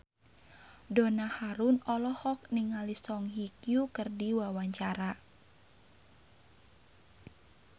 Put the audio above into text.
Donna Harun olohok ningali Song Hye Kyo keur diwawancara